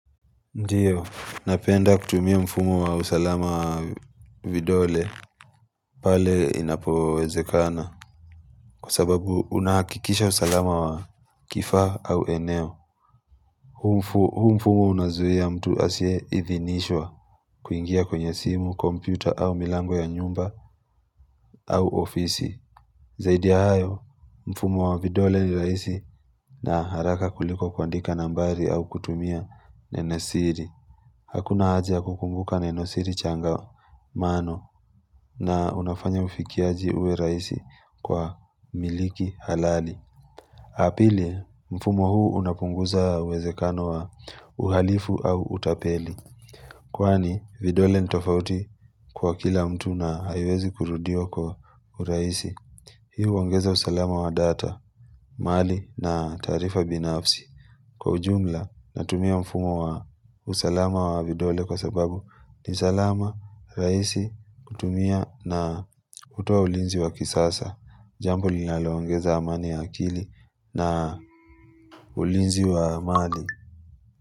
Ndiyo, napenda kutumia mfumu wa usalama wa vidole pale inapowezekana. Kwa sababu unahakikisha usalama wa kifaa au eneo. Huu mfumu unazuia mtu asiye idhinishwa. Kuingia kwenye simu, kompyuta au milango ya nyumba au ofisi. Zaidi ya hayo, mfumu wa vidole ni rahisi na haraka kuliko kuandika nambari au kutumia nene siri. Hakuna haja kukumbuka na nenosiri changamano na unafanya ufikiaji uwe raisi kwa miliki halali. Pili, mfumo huu unapunguza uwezekano wa uhalifu au utapeli. Kwani, vidole ni tofauti kwa kila mtu na haiwezi kurudiwa kwa urahisi. Hii huongeza usalama wa data, mali na taarifa binafsi. Kwa ujumla natumia mfumo wa usalama wa vidole kwa sababu ni salama, rahisi, kutumia na hutoa ulinzi wa kisasa Jambo linaloongeza amani ya akili na ulinzi wa amani.